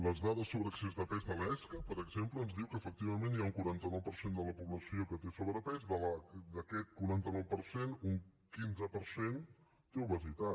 les dades sobre excés de pes de l’esca per exemple ens diuen que efectivament hi ha un quaranta nou per cent de la població que té sobrepès d’aquest quaranta nou per cent un quinze per cent té obesitat